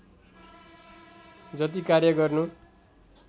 जति कार्य गर्नु